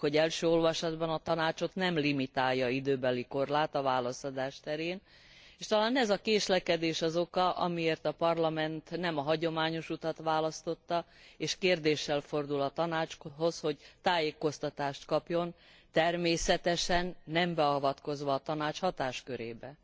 Tudjuk, hogy első olvasatban a Tanácsot nem limitálja időbeli korlát a válaszadás terén, s talán ez a késlekedés az oka, amiért a Parlament nem a hagyományos utat választotta, és kérdéssel fordul a Tanácshoz, hogy tájékoztatást kapjon, természetesen nem beavatkozva a Tanács hatáskörébe.